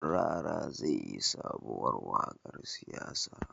Rara zai yi sobuwar waƙar siyasa